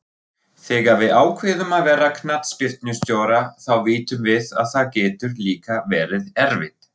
Þegar við ákveðum að verða knattspyrnustjórar þá vitum við að það getur líka verið erfitt.